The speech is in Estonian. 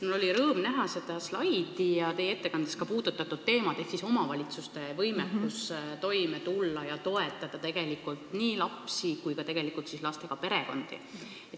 Mul oli rõõm näha slaidi sellel teemal, mida te ka ettekandes puudutasite: omavalitsuste võimekus toime tulla ja toetada nii lapsi kui ka lastega perekondi.